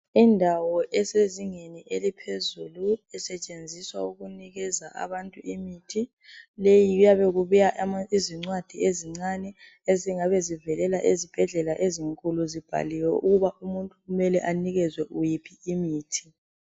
Indawo esezingeni eliphezulu .Isetshenziswa ukunikeza abantu imithi leyi kuyabe kubuya zincwadi ezincane ezingabe zivelela ezibhedlela ezinkulu zibhaliwe ukuba umuntu kumele anikezwe yiphi imithi .